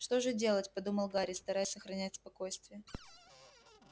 что же делать подумал гарри стараясь сохранять спокойствие